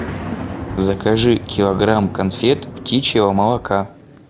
закажи килограмм конфет птичьего молока